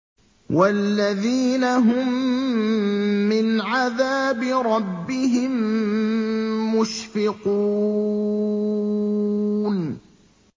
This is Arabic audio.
وَالَّذِينَ هُم مِّنْ عَذَابِ رَبِّهِم مُّشْفِقُونَ